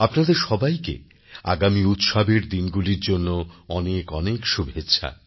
আপনাদের সবাইকে আগামী উৎসবের দিনগুলির জন্য অনেক অনেক শুভেচ্ছা